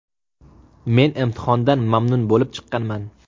Men imtihondan mamnun bo‘lib chiqqanman.